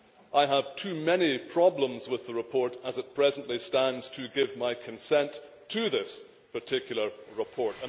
I have too many problems with the report, as it presently stands, to give my consent to this particular report.